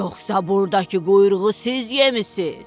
Yoxsa burdakı quyruğu siz yemissiz?